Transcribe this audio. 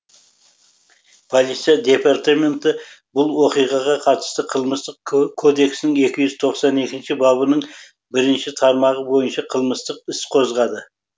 полиция департаменті бұл оқиғаға қатысты қылмыстық кодекстің екі жүз тоқсан екінші бабының бірінші тармағы бойынша қылмыстық іс қозғады